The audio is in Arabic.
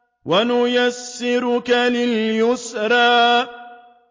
وَنُيَسِّرُكَ لِلْيُسْرَىٰ